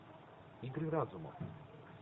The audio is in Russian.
игры разума